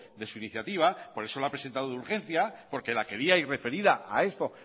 de su iniciativa por eso lo ha presentado de urgencia porque la quería y referida a esto